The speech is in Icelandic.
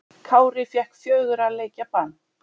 Kári fékk fjögurra leikja bann